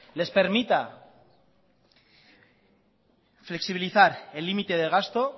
les permita flexibilizar el límite de gasto